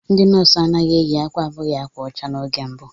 Ndị nọọsụ anaghị eyi akwa abụghị ákwà ọcha n'oge mbụ.